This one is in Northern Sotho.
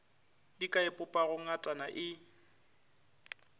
di ka ipopago ngata e